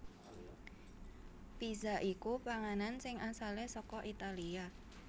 Pizza iku panganan sing asalé saka Italia